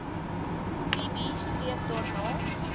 tb streef daarna